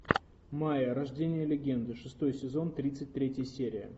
майя рождение легенды шестой сезон тридцать третья серия